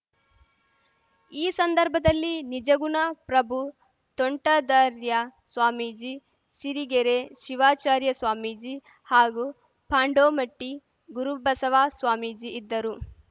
ಈ ಸಂದರ್ಭದಲ್ಲಿ ನಿಜಗುಣ ಪ್ರಭು ತೋಂಟದಾರ‍್ಯ ಸ್ವಾಮೀಜಿ ಸಿರಿಗೆರೆ ಶಿವಾಚಾರ್ಯ ಸ್ವಾಮೀಜಿ ಹಾಗೂ ಪಾಂಡೋಮಟ್ಟಿ ಗುರುಬಸವ ಸ್ವಾಮೀಜಿ ಇದ್ದರು